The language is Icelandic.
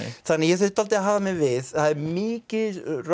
þannig að ég þurfti að hafa mig við það er mikið